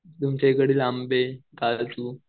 तुमच्याइकडचे आंबे, काजू.